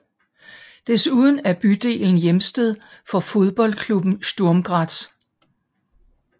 Desuden er bydelen hjemsted for fodboldklubben Sturm Graz